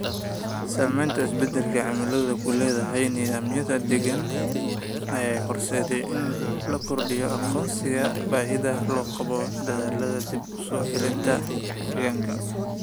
Saamaynta isbeddelka cimiladu ku leedahay nidaamyada deegaanka ayaa horseedaya in la kordhiyo aqoonsiga baahida loo qabo dadaallada dib u soo celinta deegaanka.